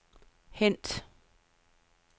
hent